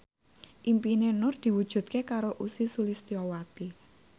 impine Nur diwujudke karo Ussy Sulistyawati